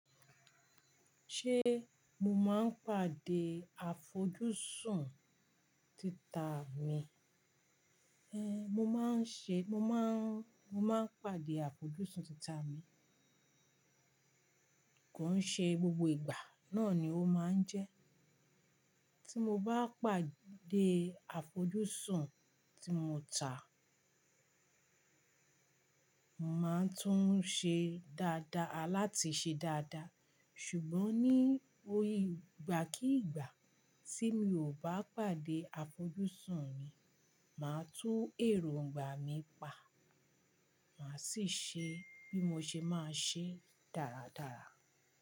Ṣé mo máa ń pàdé àfojúsùn tita mi? Ẹhn, mo maa n ṣe, mo maa n pàdé àfojúsùn ti ta mii. Kò ń ṣe gbogbo ìgbà, náà ni ó máa ń jẹ́. Tí mo bá pàdé àfojúsùn tí mo tà, màá tún un ṣe dáadáa láti ṣe dáadáa. Ṣùgbọ́n ní oyìgbà kí ìgbà tí mi ò bá pàdé àfojúsùn mi, màá tú èróńgbà mí pa. Mà á sì ṣe bí mo ṣe máa ṣe dáradára.